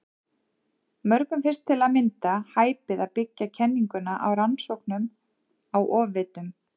Mörgum finnst til að mynda hæpið að byggja kenninguna á rannsóknum á ofvitum.